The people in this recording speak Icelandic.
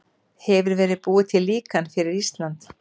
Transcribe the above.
Hefur verið búið til líkan fyrir Ísland?